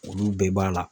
Olu bɛɛ b'a la